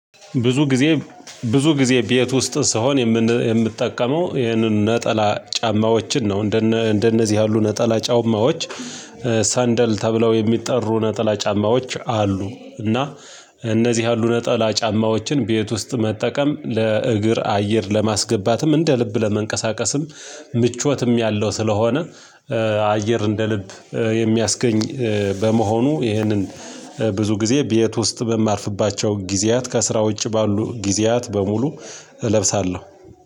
ብዙ ጊዜ ቤት ውስጥ ስሆን የምን የምጠቀመው ይህንን ነጠላ ጫማዎችን ነው እንደነ እንደነዚህ ያሉ ነጠላ ጫማዎች ሳንደል ተብለው የሚጠሩ ነጠላ ጫማዎች አሉ። እና እነዚህ ያሉ ነጠላ ጫማዎችን ቤት ውስጥ መጠቀም ለእግር አየር ለማስገባትም እንደ ልብ ለመንቀሳቀስም ምቾትም ያለው ስለሆነ። አየር እንደ ልብ የሚያስገኝ በመሆኑ ይህንን ብዙ ጊዜ ቤት ውስጥ በማርፍባቸው ጊዜያት ከስራ ውጪ ባሉ ጊዜያት በሙሉ እለብሳለሁ።